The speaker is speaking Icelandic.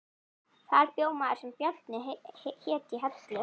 Þar bjó maður sem Bjarni hét í Hellu